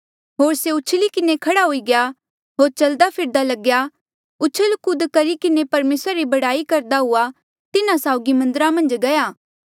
होर से उछली किन्हें खड़ा हुई गया होर चलदा फिरदा लग्या उछल कूद करी किन्हें परमेसरा री बड़ाई करदा हुएया तिन्हा साउगी मन्दरा मन्झ गया